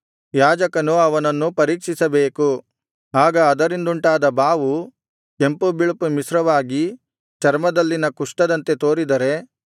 ಯಾಜಕನು ಅವನನ್ನು ಪರೀಕ್ಷಿಸಬೇಕು ಆಗ ಅದರಿಂದುಂಟಾದ ಬಾವು ಕೆಂಪು ಬಿಳುಪು ಮಿಶ್ರವಾಗಿ ಚರ್ಮದಲ್ಲಿನ ಕುಷ್ಠದಂತೆ ತೋರಿದರೆ